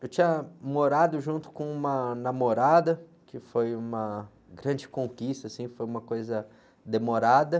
Eu tinha morado junto com uma namorada, que foi uma grande conquista, assim, foi uma coisa demorada.